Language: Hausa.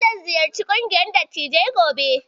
Zan ziyarci ƙungiyar Dattijai gobe